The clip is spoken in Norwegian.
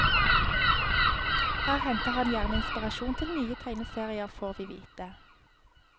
Her henter han gjerne inspirasjon til nye tegneserier, får vi vite.